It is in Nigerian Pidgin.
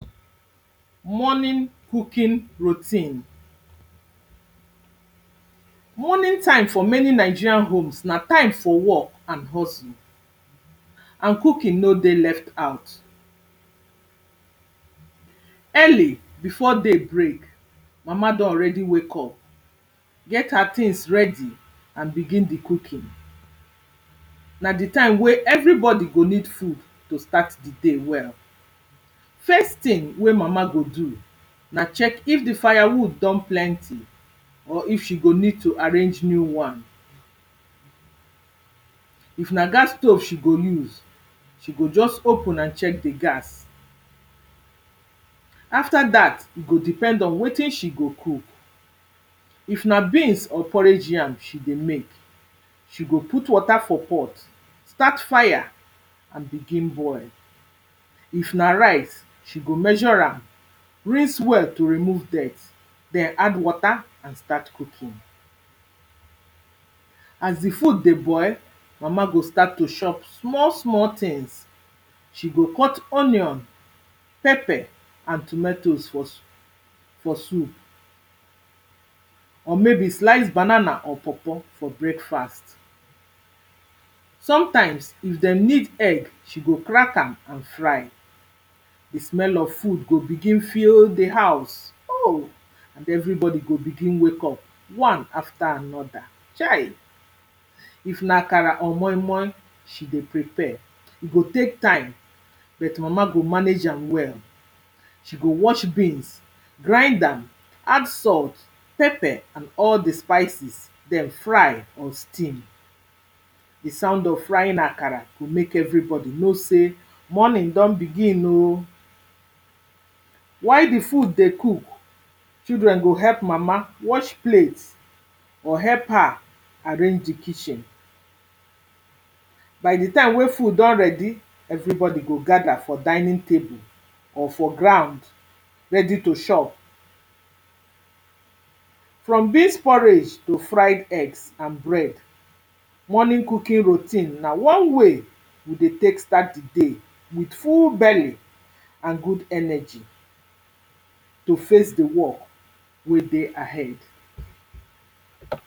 Morning cooking routine. Morning time for many Nigeria homes na time for work and hustle. and cooking no dey left out. Early before day break, mama don already wake up, get her things ready and begin the cooking. na the time wey everybody go need food to start the day well. First thing wey mama go do na check if the firewood don plenty or if she go need to arrange new wan. If na gas stove she go use, she go just open and check the gas. After that, e go depend on wetin she go cook. if na beans or porridge yam she dey make, she go put water for pot, start fire and begin boil. If na rice, she go measure am, rinse well to remove dirt. then add wata and start cooking. As the food dey boil, Mama go start to shop small small things. She go cut onion, pepper and tometoes for for soup or maybe slice banana or pawpaw for breakfast. Sometimes, if den need egg, she go crack am and fry. The smell of food go begin fill the house o and everybody go begin wake up wan after another, chai! If na akara or moi-moi she dey prepare, e go take time bet mama go manage am well. She go wash beans, grind am, add salt, pepper and all the spices, then fry or steam. The sound of frying akara go make everybody know say, morning don begin o. While the food dey cook, children go help mama wash plate or help her arrange the kitchen. By the time wey food don ready, everybody go gather for dinning table or for ground, ready to shop. From beans porridge to fried eggs and bread. Morning cooking routine na one way we dey take start the day with full belly. and good energy to face the work wey dey ahead.